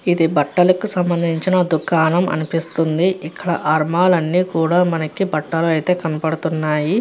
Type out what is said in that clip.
ఇది బట్టలకు సంభందించిన దుకాణం అనిపిస్తుంది. ఇక్కడ ఆర్మాల్ లో అన్నీ కూడా బట్టలు అయితే మనకి కనబడుతున్నాయి.